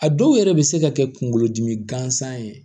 A dɔw yɛrɛ bɛ se ka kɛ kunkolodimi gansan ye